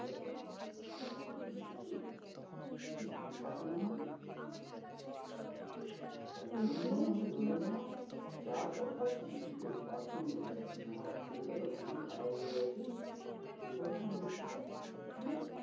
দেখতে পারবো না মানে? সেটাই তো, তাই জন্য মানে ধরে নাও চা তো খাচ্ছি কিন্তু bathroom যেতে পারছি না আমার অসুবিধা তো খুবই খারাপ হয়ে গেছে, এবার কি হচ্ছে কি?